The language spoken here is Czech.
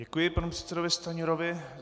Děkuji panu předsedovi Stanjurovi.